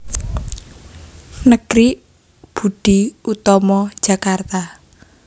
Negeri Budi Utomo Jakarta